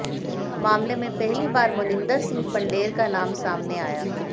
मामले में पहली बार मोनिंदर सिंह पंढेर का नाम सामने आया